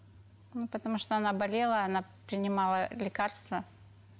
ну потому что она болела она принимала лекартсва